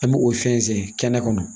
An bɛ o fɛnsɛn kɛnɛ kɔnɔ